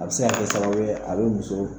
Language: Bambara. A bi se ka kɛ sababu a bi muso